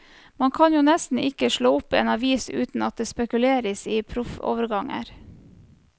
Man kan jo nesten ikke slå opp en avis uten at det spekuleres i proffoverganger.